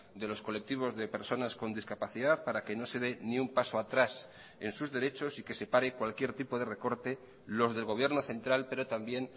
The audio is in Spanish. de los colectivos de personas con discapacidad para que no se dé ni un paso atrás en sus derechos y que se pare cualquier tipo de recorte los del gobierno central pero también